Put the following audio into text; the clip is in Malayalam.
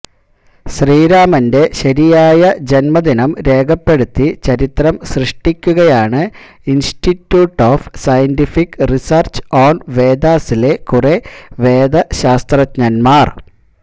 ശ്രീരാമന്റെ ശരിയായ ജന്മദിനം രേഖപ്പെടുത്തി ചരിത്രം സൃഷ്ടിക്കുകയാണ് institute of scientific research on വേദാസിലെ കുറെ വേദ ശാസ്ത്രജ്ഞന്മാര്